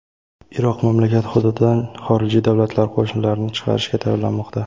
Iroq mamlakat hududidan xorijiy davlatlar qo‘shinlarini chiqarishga tayyorlanmoqda.